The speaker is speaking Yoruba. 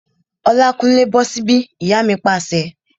Olákúnlé, bọ́ sí bí! Ìyá mi pàṣẹ